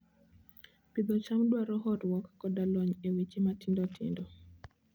Pidho cham dwaro horuok koda lony e weche matindo tindo.